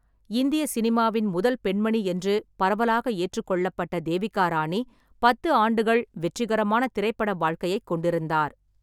இந்திய சினிமாவின் முதல் பெண்மணி என்று பரவலாக ஏற்றுக்கொள்ளப்பட்ட தேவிகா ராணி பத்து ஆண்டுகள் வெற்றிகரமான திரைப்பட வாழ்க்கையைக் கொண்டிருந்தார்.